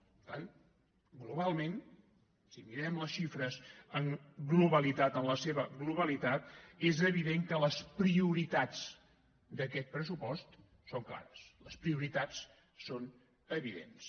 per tant globalment si mirem les xifres en globalitat en la seva globalitat és evident que les prioritats d’aquest pressupost són clares les prioritats són evidents